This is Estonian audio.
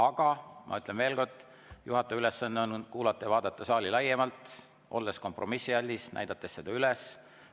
Aga ma ütlen veel kord, juhataja ülesanne on kuulata ja vaadata saali laiemalt, olla kompromissialdis, näidata seda üles.